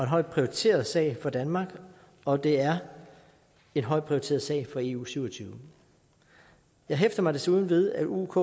højt prioriteret sag for danmark og det er en højt prioriteret sag for eu syv og tyve jeg hæfter mig desuden ved at uk